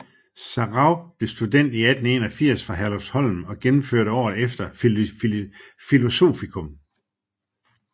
Sarauw blev student 1881 fra Herlufsholm og gennemførte året efter filosofikum